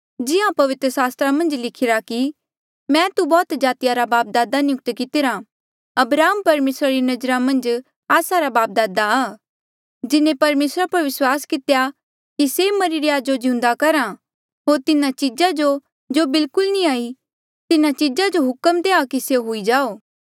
जिहां पवित्र सास्त्रा मन्झ लिखिरा कि मैं तू बौह्त जातिया रा बापदादे नियुक्त कितिरा अब्राहम परमेसरा री नजरा मन्झ आस्सा रा बापदादा आ जिन्हें परमेसरा पर विस्वास कितेया कि से मरिरे या जो जिउंदा करहा होर तिन्हा चीजा जो जो बिलकुल नी हाई तिन्हा चीजा जो हुक्म देआ कि स्यों हुई जाओ